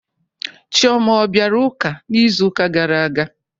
Chioma ọ bịara ụka n'izuka gara aga?